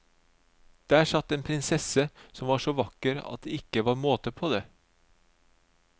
Der satt en prinsesse som var så vakker at det ikke var måte på det.